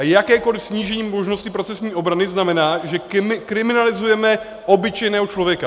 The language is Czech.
A jakékoli snížení možnosti procesní obrany znamená, že kriminalizujeme obyčejného člověka.